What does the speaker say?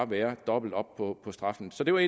være dobbelt op på straffen så det var